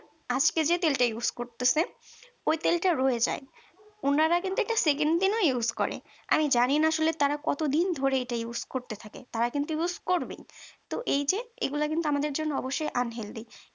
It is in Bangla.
আজকে যে তেলটা use করতাছে ওই তেলটা রয়ে যায় উনারা কিন্তু Sekend দিন ও use করে আমি জানিনা আসলে তারা কতদিন ধরে এটা use করতে থাকে তারা কিন্তু use করেই তো এই যে এগুলো কিন্তু আমাদের জন্য অবশ্যই un healthy